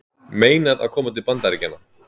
Meinað að koma til Bandaríkjanna